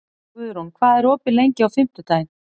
Guðrún, hvað er opið lengi á fimmtudaginn?